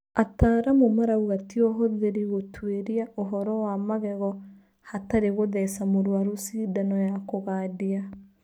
Ataaramu marauga tĩ ũhũthĩri gũtwĩria ũhoro wa magego hatarĩ gũtheca mũrwaru cindano ya kũgandia.